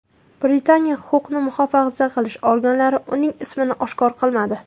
Britaniya huquqni muhofaza qilish organlari uning ismini oshkor qilmadi.